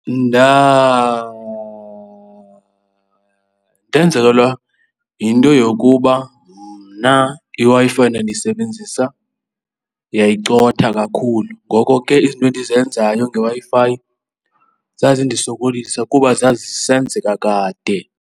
ndenzekelwa yinto yokuba mna iWi-Fi endandiyisebenzisa yayicotha kakhulu ngoko ke izinto endizenzayo ngeWi-Fi zazindisokolisa kuba zazisenzeka kade.